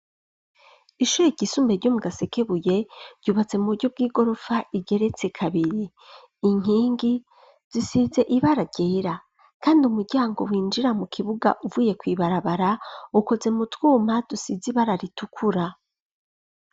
Ishure ryisumbuye ryomugasekebuye ryubatse mu buryo bw'igorofa igeretse kabiri, inkingi zisize ibara ryera kandi umuryango winjira mu kibuga uvuye kw'ibarabara ukoze mu twuma dusize ibara ritukura.